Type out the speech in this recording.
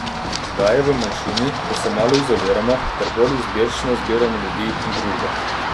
Zdaj je v manjšini, ko se malo izoliramo ter bolj izbirčno zbiramo ljudi in družbo.